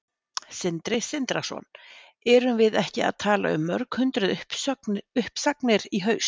Sindri Sindrason: Erum við ekki að tala um mörg hundruð uppsagnir í haust?